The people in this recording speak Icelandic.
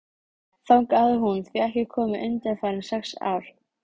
Ég var ennþá vankaður eftir svefninn, þótt stuttur hefði verið.